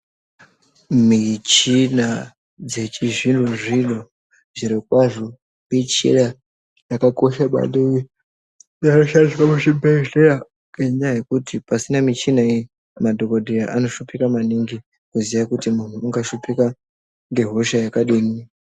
Michina dzechizvino zvino zvirokwazvo michina yakakosha maningi inoshandiswa muzvibhedhlera ngenyaya yekuti pasina mishina iyi madhokodheya anoshupika maningi kuziya kuti muntu ungashupika ngehosha yakadii.